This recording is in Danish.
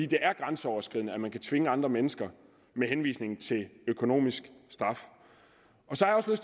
det er grænseoverskridende at man kan tvinge andre mennesker med henvisning til økonomisk straf